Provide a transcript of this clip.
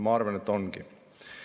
Ma arvan, et tõesti on.